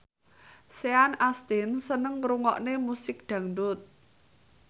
Sean Astin seneng ngrungokne musik dangdut